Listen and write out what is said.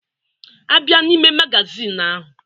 A bịa n'ime magazin ahụ.